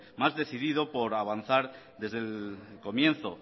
más decidido por avanzar desde el comienzo